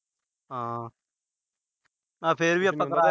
ਹਾਂ। ਫਿਰ ਵੀ ਆਪਾ